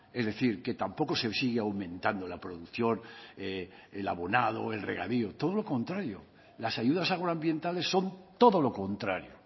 es decir que tampoco se sigue aumentando la producción el abonado el regadío todo lo contrario las ayudas agroambientales son todo lo contrario